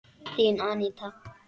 Þín, Aníta.